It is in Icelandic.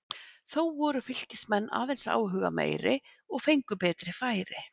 Þó voru Fylkismenn aðeins áhugameiri og fengu betri færi.